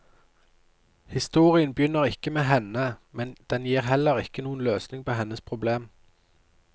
Historien begynner ikke med henne, men den gir heller ikke noen løsning på hennes problem.